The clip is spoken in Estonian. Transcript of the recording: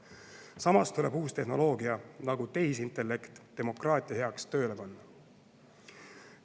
Samas tuleb uus tehnoloogia, nagu tehisintellekt, demokraatia heaks tööle panna.